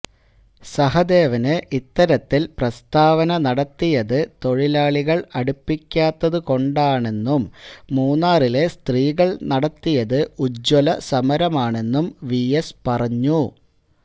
സഹദേവന് ഇത്തരത്തില് പ്രസ്താവന നടത്തിയത് തൊഴിലാളികള് അടുപ്പിക്കാത്തത് കൊണ്ടാണെന്നും മൂന്നാറിലെ സ്ത്രീകള് നടത്തിയത് ഉജ്വലസമരമാണെന്നും വിഎസ് പറഞ്ഞു